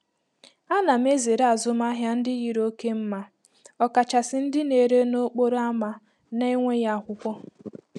A na m ezere azụmahịa ndị yiri oke mma, ọkachasị ndị na-ere n'okporo ámá na-enweghị akwụkwọ.